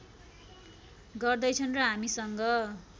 गर्दै छन् र हामीसँग